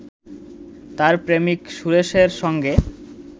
তার প্রেমিক সুরেশের সঙ্গে